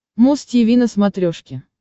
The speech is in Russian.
муз тиви на смотрешке